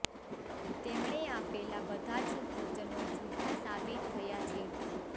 તેમણે આપેલા બધા જ વચનો જુઠ્ઠા સાબિત થયા છે